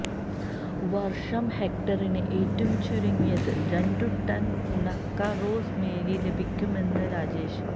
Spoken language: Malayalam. വർഷം ഹെക്ടറിന് ഏറ്റവും ചുരുങ്ങിയത് രണ്ടു ടൺ ഉണക്ക റോസ് മേരി ലഭിക്കുമെന്ന് രാജേഷ്